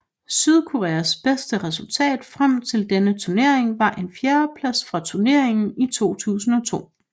Sydkoreas bedste resultat frem til denne turnering var en fjerdeplads fra turneringen i 2002